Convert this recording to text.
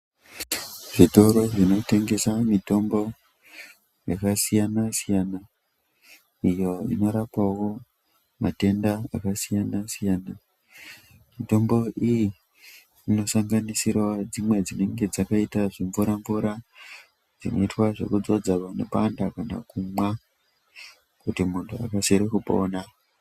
Zvitoro zvinotengese mitombo yakasiyana siyana ,iyo inorapawo matenda akasiyana siyana. Mitombo iyi inosanganisirawo dzimwe dzinenge dzakaita zvimvura mvura dzinoitwa zvekudzodzwa panopanda kana kumwa kuti muntu akasire kupona.